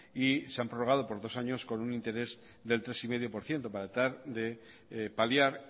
y se han prorrogado por dos años con un interés del tres coma cinco por ciento para tratar de paliar